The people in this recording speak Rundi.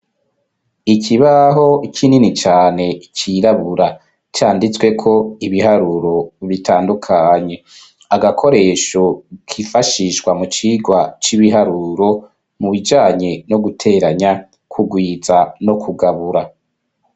Ikibaho kinini cane cirabura canditsweko ibiharuro bitandukanye. Agakoresho kifashishwa mu cigwa c'ibiharuro mu bijanye no guteranya, kugwiza no kugabura.